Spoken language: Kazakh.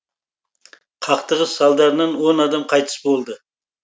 қақтығыс салдарынан он адам қайтыс болды